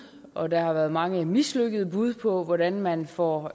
og der har været mange mislykkede bud på hvordan man får